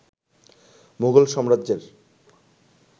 মুঘল সাম্রাজ্যের